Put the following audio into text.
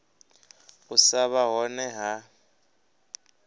u sa vha hone ha